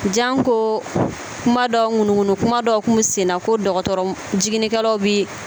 Janko kuma dɔ ŋunuŋunu kuma dɔ tun bɛ senna ko dɔgɔtɔrɔ jiginnikɛlaw bɛ